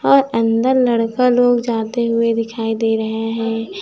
और अंदर लड़का लोग जाते हुए दिखाई दे रहे हैं।